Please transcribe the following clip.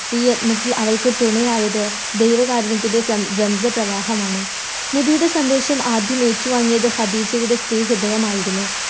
ഈ യജ്ഞത്തിൽ അവൾക്ക് തുണയായത് ദൈവകാരുണ്യത്തിന്റെ പ്രവാഹമാണ് നബിയുടെ സന്ദേശം ആദ്യം ഏറ്റുവാങ്ങിയത് ഹദീജയുടെ സ്ത്രീ ഹൃദയമായിരുന്നു.